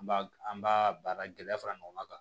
An b'a an b'a baara gɛlɛya fara ɲɔgɔn kan